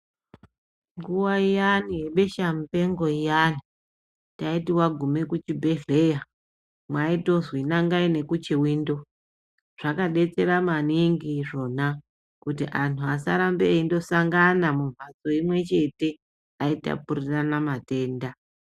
Nguva iyani ye besha mupengo iyani taiti wagume ku chibhedhleya maitozwi nangai neku chiwindo zvaka detsera maningi izvona kuti anhu asa rambe eindo sangana mu mbatso imwe chete ayi tapurirana matenda.